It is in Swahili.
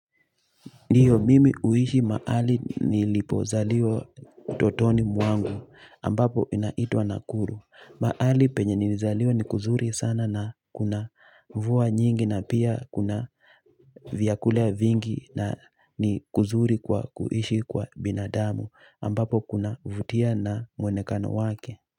Ndiyo mimi huishi mahali nilipo zalizwa utotoni mwangu ambapo inaitwa Nakuru. Mahali penye nilizaliwa ni kuzuri sana na kuna mvua nyingi na pia kuna vyakula vingi na ni kuzuri kwa kuishi kwa binadamu ambapo kuna vutia na mwonekano wake.